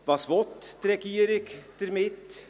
Was will die Regierung damit?